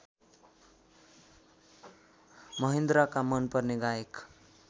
महेन्द्रका मनपर्ने गायक